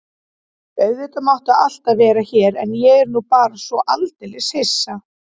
Auðvitað máttu alltaf vera hér en ég er nú bara svo aldeilis hissa.